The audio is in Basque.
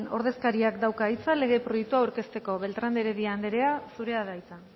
ordezkariak dauka hitza lege proiektua aurkezteko beltrán de heredia anderea zurea da hitza